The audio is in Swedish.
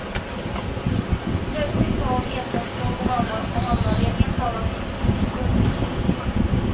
Plötsligt var hon ensamstående mamma och hamnade i en helt annan sits. punkt